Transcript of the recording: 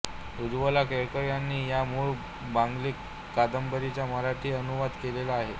उज्वला केळकर यांनी या मूळ बंगाली कादंबरीचा मराठी अनुवाद केलेला आहे